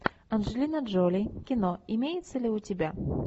анджелина джоли кино имеется ли у тебя